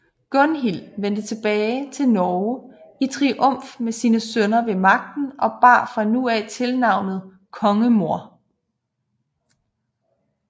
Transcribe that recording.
Gunhild vendte tilbage til Norge i triumf med sine sønner ved magten og bar fra nu af tilnavnet kongemor